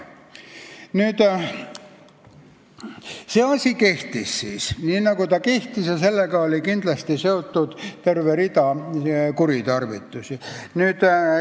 See regulatsioon kehtis aastaid ja sellega oli kindlasti seotud terve rida kuritarvitusi.